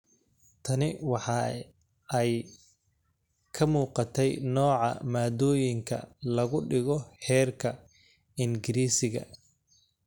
Tani waxa ay ka muuqatey nooca maaddooyinka lagu dhigo heerkan – Ingiriisiga,